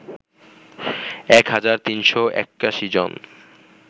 ১ হাজার ৩৮১ জন